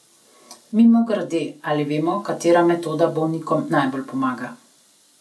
Mimogrede, ali vemo, katera metoda bolnikom najbolj pomaga?